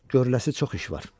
Görüləsi çox iş var."